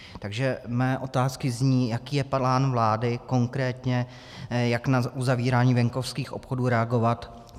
Takže mé otázky zní: Jaký je plán vlády, konkrétně jak na uzavírání venkovských obchodů reagovat?